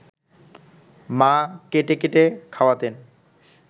মা কেটে কেটে খাওয়াতেন